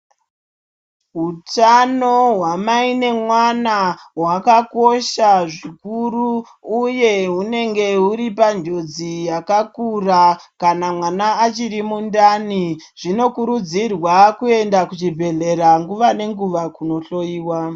Hutano hwamai nemwana hwakakosha zvikuru, uye hunenge huri panjodzi yakakura, kana mwana achiri mundani. Zvinokurudzirwa kuenda kuchibhedhlera nguva nenguva kunohloiwa.